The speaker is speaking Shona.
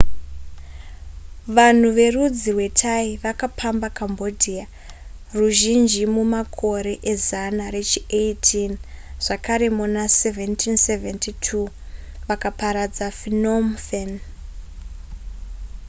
vanhu verudzi rwethai vakapamba cambodia ruzhinji mumakore ezana rechi18 zvakare muna 1772 vakaparadza phnom phen